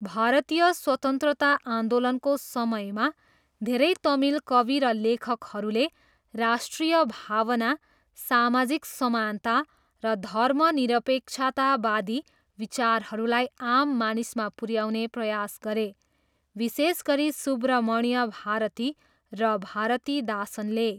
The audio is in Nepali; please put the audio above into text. भारतीय स्वतन्त्रता आन्दोलनको समयमा, धेरै तमिल कवि र लेखकहरूले राष्ट्रिय भावना, सामाजिक समानता, र धर्मनिरपेक्षतावादी विचारहरूलाई आम मानिसमा पुऱ्याउने प्रयास गरे, विशेष गरी सुब्रमण्य भारती र भारतीदासनले।